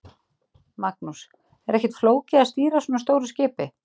Magnús: Er ekkert flókið að stýra svona stóru skipi?